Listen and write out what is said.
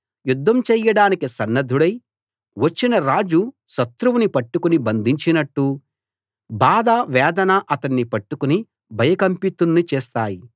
యుద్ధం చేయడానికి సన్నద్ధుడై వచ్చిన రాజు శత్రువుని పట్టుకుని బంధించినట్టు బాధ వేదన అతణ్ణి పట్టుకుని భయకంపితుణ్ణి చేస్తాయి